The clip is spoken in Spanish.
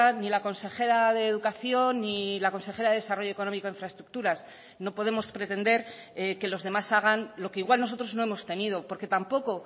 ni la consejera de educación ni la consejera de desarrollo económico e infraestructuras no podemos pretender que los demás hagan lo que igual nosotros no hemos tenido porque tampoco